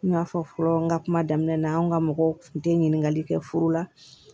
N y'a fɔ fɔlɔ n ka kuma daminɛ na anw ka mɔgɔw tun tɛ ɲininkali kɛ furu la